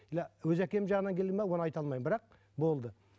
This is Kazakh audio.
иә өз әкем жағынан келген бе оны айта алмаймын бірақ болды